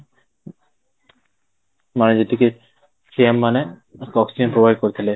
ମାନେ ଯେତିକି CM ମାନେ provide କରିଥିଲେ